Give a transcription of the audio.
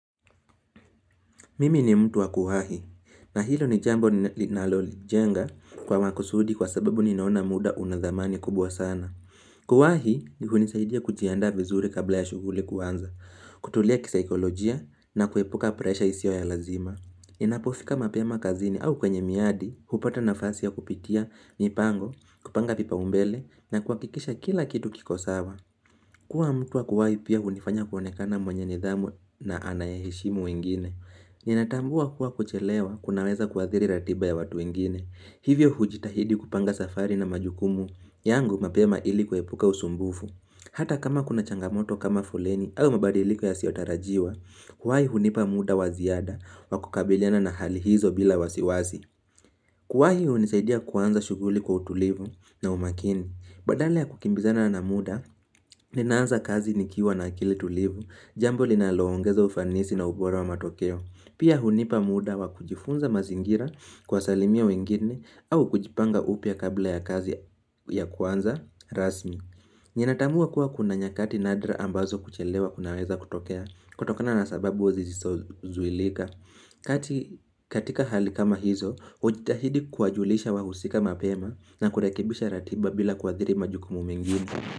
Mimi ni mtu wa kuwahi, na hilo ni jambo linalonijenga kwa makusudi kwa sababu ninaona muda una thamani kubwa sana. Kuwahi hunisaidia kujiaanda vizuri kabla ya shughuli kuanza, kutulia kisaikolojia na kuepuka presha isio ya lazima. Ninapofika mapema kazini au kwenye miadi, hupata nafasi ya kupitia mipango, kupanga vipaumbele na kuhakikisha kila kitu kiko sawa. Kuwa mtu wa kuwahi pia hunifanya kuonekana mwenye nidhamu na anayeheshimu wengine. Ninatambua kuwa kuchelewa kunaweza kuathiri ratiba ya watu wengine. Hivyo hujitahidi kupanga safari na majukumu yangu mapema ili kuepuka usumbufu. Hata kama kuna changamoto kama foleni au mabadiliko yasiyotarajiwa, kuwahi hunipa muda wa ziada wa kukabiliana na hali hizo bila wasiwazi. Kuwahi hunisaidia kuanza shughuli kwa utulivu na umakini. Badale ya kukimbizana na muda, ninaanza kazi nikiwa na akili tulivu, jambo linaloongeza ufanisi na ubora wa matokeo. Pia hunipa muda wa kujifunza mazingira kuwsalimia wengine au kujipanga upya kabla ya kazi ya kuanza rasmi. Ninatambua kuwa kuna nyakati nadra ambazo kuchelewa kunaweza kutokea kutokana na sababu zisizozuhilika katika hali kama hizo, hujitahidi kuwajulisha wahusika mapema na kurekebisha ratiba bila kuathiri majukumu mengine.